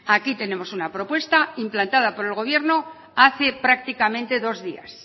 aquí tenemos una propuesta implantada por el gobierno hace prácticamente dos días